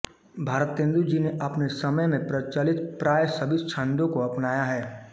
भारतेंदु जी ने अपने समय में प्रचलित प्रायः सभी छंदों को अपनाया है